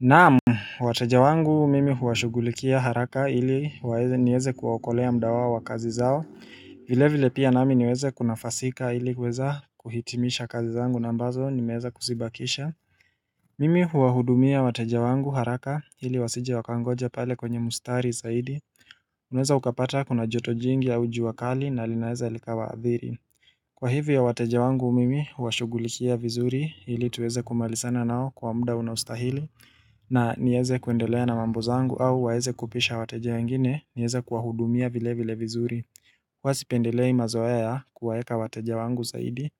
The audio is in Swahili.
Naam, wateja wangu mimi huwashugulikia haraka ili waweze niweze kuwaokolea muda wao wa kazi zao, vile vile pia nami niweze kunafasika ili kuweza kuhitimisha kazi zangu na ambazo nimeweza kuzibakisha Mimi huwahudumia wateja wangu haraka ili wasije wakangoja pale kwenye mustari zaidi, unaweza ukapata kuna joto jingi au jua kali na linaweza likawaadhiri Kwa hivyo wateja wangu mimi, huwashughulikia vizuri ili tuweze kumalizana nao kwa muda unaostahili na nieze kuendelea na mambo zaangu au waweze kupisha wateja wengine, niweze kuwahudumia vile vile vizuri huwa sipendelei mazoea ya kuwaeka wateja wangu zaidi